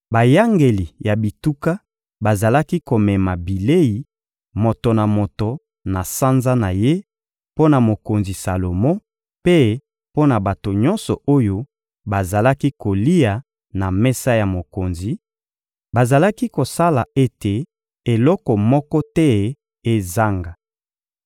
Bayangeli ya bituka bazalaki komema bilei, moto na moto na sanza na ye, mpo na mokonzi Salomo mpe mpo na bato nyonso oyo bazalaki kolia na mesa ya mokonzi; bazalaki kosala ete eloko moko te ezanga.